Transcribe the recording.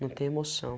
Não tem emoção.